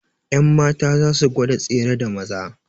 Yanmatan za su gwada tsere da Maza